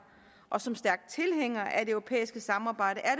og som stærk tilhænger af det europæiske samarbejde er